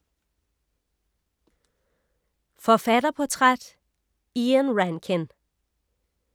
Forfatterportræt: Ian Rankin